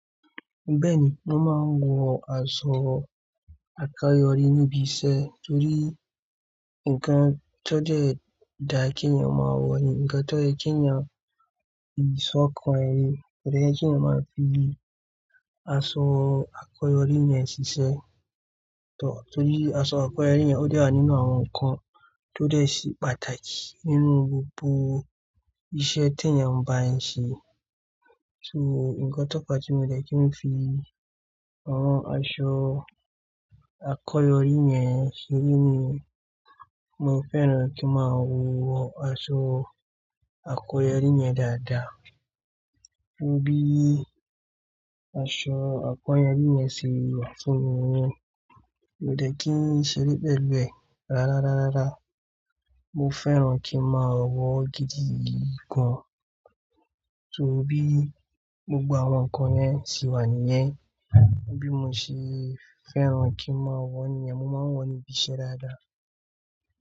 Bẹ́ẹ̀ni, mo má ń wọ aṣọ àkayọrí ní ibi iṣẹ́ torí nkan tó dẹ́ dáa kí èèyàn máa wọ̀ ni, ǹkan tó yẹ kí èèyàn yí ṣọ̀kan rẹ̀ ni, ko de yẹ kí èèyàn máa fi aṣọ àkayọrí yẹn ṣiṣẹ́. Torí aṣọ àkayọrí yẹn ó de wa nínú àwọn nkan tó dẹ́ sí pàtàkì nínú gbogbo iṣẹ́ tí èèyàn ń bá ń ṣe. So, ǹkan tó fa tí mo dẹ́ kí n fi àwọn aṣọ àkayọrí yẹn ṣeré ni, mo fẹ́ràn kí n máa wọ àṣọ àkoyọrí yẹn dáadáa. Torí aṣọ àkọ́yọrí yẹn se wà fún mi wón, mi ò dẹ́ kí n ṣeré pẹ̀lú ẹ̀ rárá, rárá. Mo fẹ́ràn kí n máa wa gidi gan. Torí gbogbo àwọn nkan yẹn se wà níyẹn, torí mo sì fẹ́ràn kí n máa wọ̀ ni, mo máa ń wọ̀ níbi iṣẹ́ dáadáa.